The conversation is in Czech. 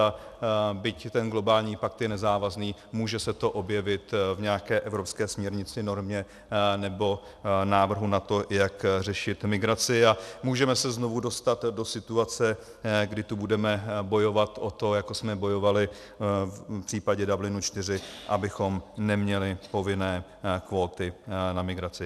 A byť ten globální pakt je nezávazný, může se to objevit v nějaké evropské směrnici, normě nebo návrhu na to, jak řešit migraci, a můžeme se znovu dostat do situace, kdy tu budeme bojovat o to, jako jsme bojovali v případě Dublinu IV, abychom neměli povinné kvóty na migraci.